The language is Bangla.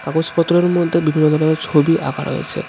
কাগজপত্রের মধ্যে বিভিন্ন ধরনের ছবি আঁকা রয়েছে.